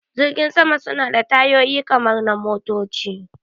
Jiragen sama suna da tayoyi kamar na motoci